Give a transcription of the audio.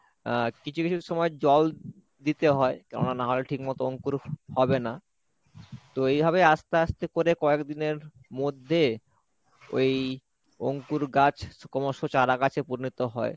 আহ কিছু কিছু সময় জল দিতে হয়, কেননা না হলে ঠিক মতো অঙ্কুর হবে না, তো এইভাবে আসতে আসতে করে কয়েক দিনের মধ্যে ওই অঙ্কুর গাছ ক্রমশ চারা গাছে পরিণত হয়।